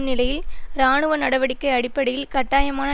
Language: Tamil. நிலையி இராணுவ நடவடிக்கை அடிப்படையில் கட்டாயமான